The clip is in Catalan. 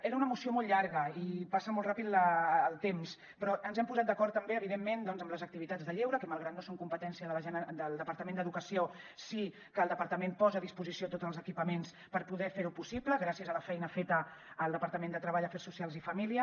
era una moció molt llarga i passa molt ràpid el temps però ens hem posat d’acord també evidentment doncs amb les activitats de lleure que malgrat que no són competència del departament d’educació sí que el departament posa a disposició tots els equipaments per poder fer ho possible gràcies a la feina feta al departament de treball afers socials i famílies